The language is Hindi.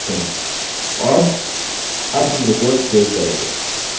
और अब हम report सेव करेंगे